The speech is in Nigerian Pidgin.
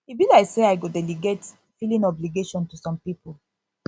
e be like say i go delegate filling obligation to some people